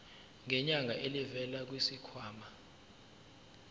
ngenyanga elivela kwisikhwama